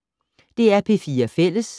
DR P4 Fælles